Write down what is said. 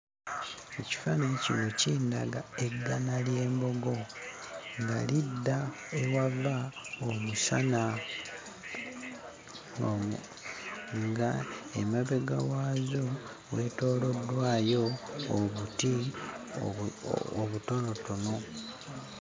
Ekifaananyi kino kindaga eggana ly'embogo nga lidda ewava omusana, ng'emabega waazo weetooloddwayo obuti obutonotono.